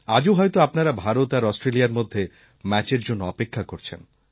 আজও হয়ত আপনারা ভারত আর অস্ট্রেলিয়ার মধ্যে ম্যাচের জন্য অপেক্ষা করছেন